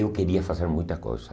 Eu queria fazer muita coisa.